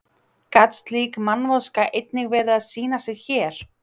Gat slík mannvonska einnig verið að sýna sig hér?